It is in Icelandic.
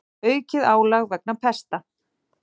Aukið álag vegna pesta